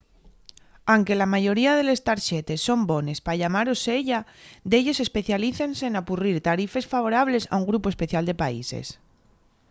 anque la mayoría de les tarxetes son bones pa llamar au seya delles especialícense n'apurrir tarifes favorables a un grupu especial de países